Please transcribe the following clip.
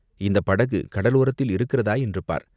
இந்தப் படகு கடலோரத்தில் இருக்கிறதா என்று பார்!